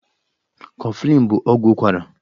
Kọflịn bụ ọgwụ ụkwara.